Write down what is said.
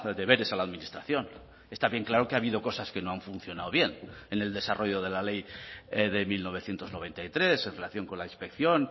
deberes a la administración está bien claro que ha habido cosas que no han funcionado bien en el desarrollo de la ley de mil novecientos noventa y tres en relación con la inspección